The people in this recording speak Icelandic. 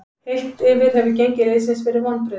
Heilt yfir hefur gengi liðsins verið vonbrigði.